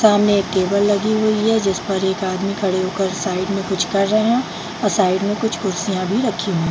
सामने एक टेबल लगी हुई है जिस पर एक आदमी खड़े होकर साइड में कुछ कर रहे है और साइड में कुछ कुर्सियां भी रखी हुई।